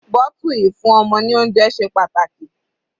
Bottle ìfún ọmọ ní oúnjẹ ṣe pàtàkì.